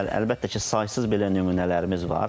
Bəli, əlbəttə ki, saysız belə nümunələrimiz var.